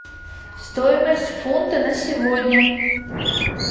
стоимость фунта на сегодня